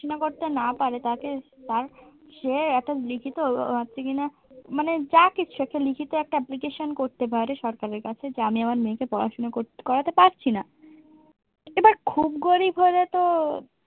সেটা যদি পড়াশুনো করতে না পারে তাকে তার সে একটা লিখিত মানে যা কিছু একটা লিখিত একটা application করতে পারে সরকারের কাছে যে আমি আমার মেয়েকে পড়াশোনা করতে করাতে পারছি না এবার খুব গরিব হলে তো